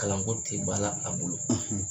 Kalanko tile b'a